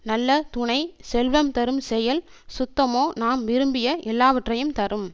நல்ல துணை செல்வம் தரும் செயல் சுத்தமோ நாம் விரும்பிய எல்லாவற்றையும் தரும்